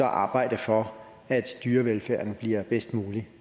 arbejder for at dyrevelfærden bliver bedst mulig